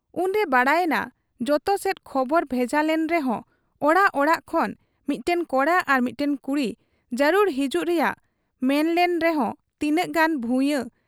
ᱩᱱᱨᱮ ᱵᱟᱰᱟᱭ ᱮᱱᱟ ᱡᱚᱛᱚ ᱥᱮᱫ ᱠᱷᱚᱵᱚᱨ ᱵᱷᱮᱡᱟ ᱞᱮᱱ ᱨᱮᱦᱚᱸ ᱚᱲᱟᱜ ᱚᱲᱟᱜ ᱠᱷᱚᱱ ᱢᱤᱫᱴᱟᱹᱝ ᱠᱚᱲᱟ ᱟᱨ ᱢᱤᱫᱴᱟᱹᱝ ᱠᱩᱲᱤ ᱡᱟᱹᱨᱩᱲ ᱦᱤᱡᱩᱜ ᱨᱮᱭᱟᱜ ᱢᱮᱢᱱᱞᱮᱱ ᱨᱮᱦᱚᱸ ᱛᱤᱱᱟᱹᱜ ᱜᱟᱱ ᱵᱷᱩᱭᱟᱺ,